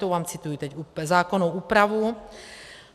To vám cituji teď zákonnou úpravu.